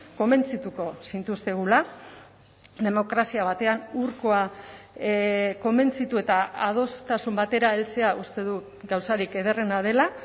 konbentzituko zintuztegula demokrazia batean hurkoa konbentzitu eta adostasun batera heltzea uste dut gauzarik ederrena dela